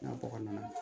N'a fɔ ka nana